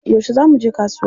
Yaushe za muje kasuwa?